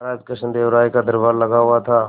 महाराज कृष्णदेव राय का दरबार लगा हुआ था